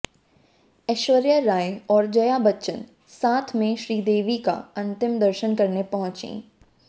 ऐश्वर्या राय और जया बच्चन साथ में श्रीदेवी का अंतिम दर्शन करने पहुंची